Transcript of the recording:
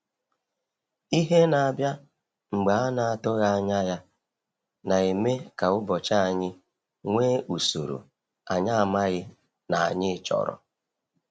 Ihe na-abịa mgbe a n'atụghị anya ya, na-eme ka ụbọchị anyị nwee usoro anyị amaghi na anyị chọrọ.